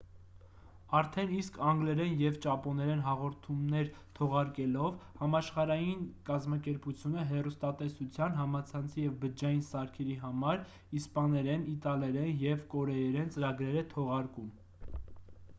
արդեն իսկ անգլերեն և ճապոներեն հաղորդումներ թողարկելով համաշխարհային կազմակերպությունը հեռուստատեսության համացանցի և բջջային սարքերի համար իսպաներեն իտալերեն և կորեերեն ծրագրեր է թողարկում